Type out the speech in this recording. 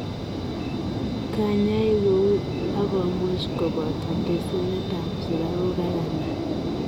Kanyae kouy agomuuch kopotoo tesinetap sukaruuk ak anan